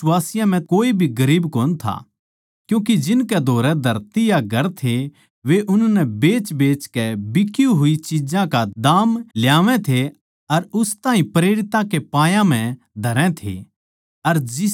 अर उन बिश्वासियाँ म्ह कोए भी गरीब कोनी था क्यूँके जिनकै धोरै धरती या घर थे वे उननै बेचबेचकै बिकी होई चिज्जां का दाम ल्यावै थे अर उस ताहीं प्रेरितां के पायां म्ह धरै थे